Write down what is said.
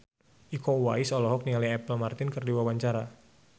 Iko Uwais olohok ningali Apple Martin keur diwawancara